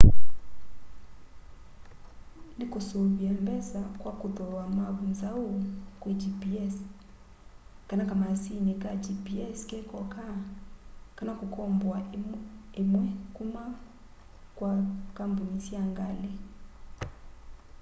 nikusuvia mbesa kwa kuthooa mavu nzau kwi gps kana kamaasini ka gps kekoka kana kukomboa imwe kuma kwa kampuni sya ngali